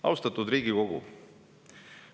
Austatud Riigikogu!